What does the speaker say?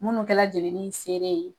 Minnu kɛla jɛnini seere ye